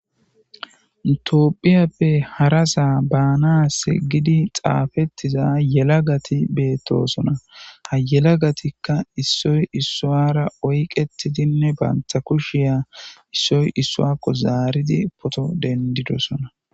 Tophiyape hara Soho banasi waraqata xafisishe betosona ha yelagatika issoy issara oyqetidine banta kushe issoy issan zaaridine eqidosona